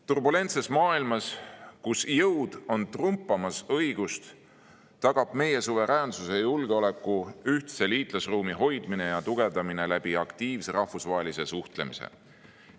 Turbulentses maailmas, kus jõud on üle trumpamas õigust, tagab meie suveräänsuse ja julgeoleku ühtse liitlasruumi hoidmine ja tugevdamine aktiivse rahvusvahelise suhtlemise kaudu.